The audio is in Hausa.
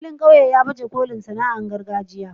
filin ƙauye ya baje kolin sana'ar gargajiya.